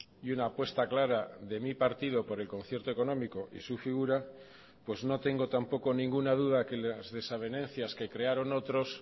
y una apuesta clara de mí partido por el concierto económico y su figura pues no tengo tampoco ninguna duda que las desavenencias que crearon otros